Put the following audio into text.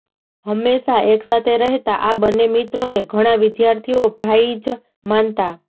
હંમેશાં એકસાથે રહેતા આ બંને મિત્રોને ઘણા વિદ્યાર્થીઓ ભાઇ જ માનતા